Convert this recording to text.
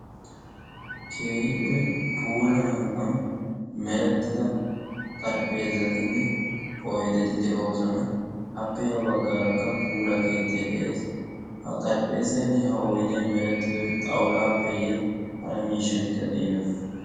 keehippe puula hanotaan xarpheezzatinne oyddeti de"oosona. appe ha baggaarakka puula keettay de"ees. ha xarphpheezzay merettidoy xawulappeyye hara miishshatikka de'iyonaa?